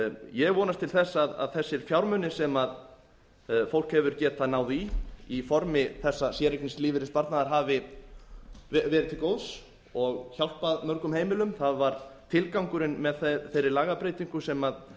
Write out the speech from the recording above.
ég vonast til þess að þessir fjármunir sem fólk hefur getað náð í í formi þessa séreignarlífeyrissparnaðar hafi verið til góðs og hjálpað mörgum heimilum það var tilgangurinn með þeirri lagabreytingu sem